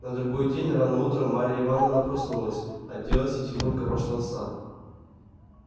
на другой день рано утром марья ивановна проснулась оделась и тихонько пошла в сад